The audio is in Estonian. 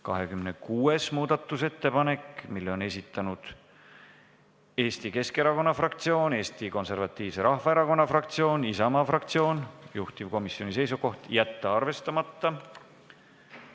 26. muudatusettepaneku on esitanud Eesti Keskerakonna fraktsioon, Eesti Konservatiivse Rahvaerakonna fraktsioon ja Isamaa fraktsioon, juhtivkomisjoni seisukoht: jätta see arvestamata.